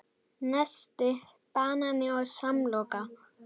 Nesti: Banani og samloka